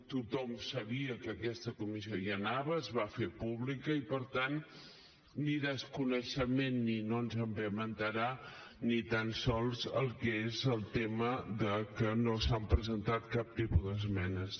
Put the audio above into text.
tothom sabia que aquesta comissió hi anava es va fer pública i per tant ni desconeixement ni no ens en vam assabentar ni tan sols el que és el tema de que no s’ha presentat cap tipus d’esmenes